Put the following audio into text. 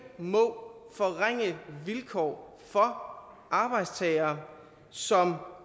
må forringe vilkår for arbejdstagere som